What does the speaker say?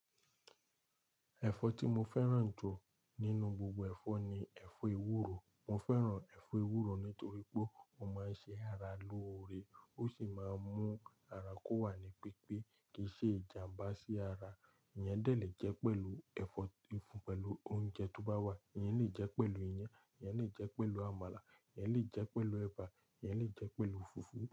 Ẹ̀fọ́ tí mo fẹ́ràn jù nínú gbogbo ẹ̀fọ́ ni ẹ̀fọ́ ewúro. Mo fẹ́ràn ẹ̀fọ́ ewúro nítorí pé ó máa ń ṣe ara lóore, ó sì máa ń mú ara kó wà ní pípé, kì í ṣe ìjàmbá sí ara. Eyan dè lẹ́ pẹ̀lú ẹ̀fọ́ ìfun, pẹ̀lú oúnjẹ tó bá wà, eyan lè jẹ́ pẹ̀lú iyán, eyan lè jẹ́ pẹ̀lú àmàlà, eyan lè jẹ́ pẹ̀lú ẹba, ẹyan lè jẹ́ pẹ̀lú fùfú.